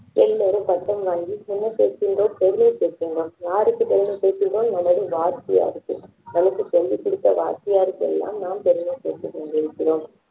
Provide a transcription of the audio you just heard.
எல்லோரும் பட்டம் வாங்கி சின்ன பெரிய தான் யாருக்கு பெருமை சேர்க்கின்றோம் நம்ம வாத்தியாருக்கு நமக்கு சொல்லிக் கொடுத்த வாத்தியாருக்கு எல்லாம் நாம் பெருமை சேர்த்துக் கொண்டிருக்கிறோம்